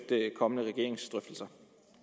kommende regeringsdrøftelser